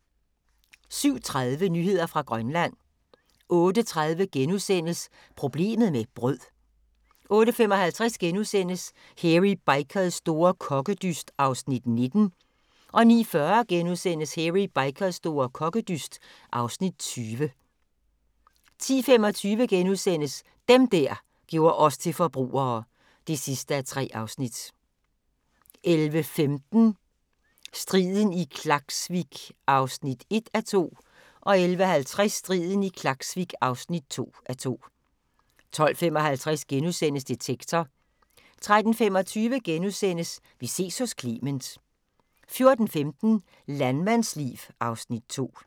07:30: Nyheder fra Grønland 08:30: Problemet med brød * 08:55: Hairy Bikers store kokkedyst (Afs. 19)* 09:40: Hairy Bikers store kokkedyst (Afs. 20)* 10:25: Dem der gjorde os til forbrugere (3:3)* 11:15: Striden i Klaksvik (1:2) 11:50: Striden i Klaksvik (2:2) 12:55: Detektor * 13:25: Vi ses hos Clement * 14:15: Landmandsliv (Afs. 2)